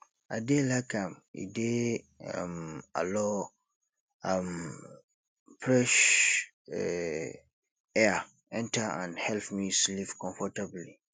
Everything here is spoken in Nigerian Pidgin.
i dey like am e dey um allow um fresh um air enter and help me sleep comfortably